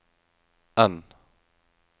N